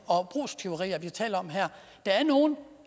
og brugstyverier vi taler om her der er nogle